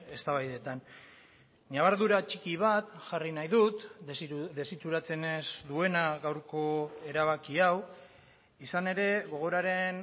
eztabaidetan ñabardura txiki bat jarri nahi dut desitxuratzen ez duena gaurko erabaki hau izan ere gogoraren